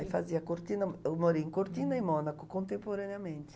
Eu fazia Cortina... eu morei em Cortina e Mônaco contemporaneamente.